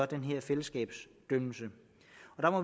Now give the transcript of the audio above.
den her fællesskabsdomfældelse